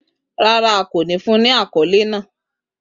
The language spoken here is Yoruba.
Rara, a ko ni fun ni akọle naa.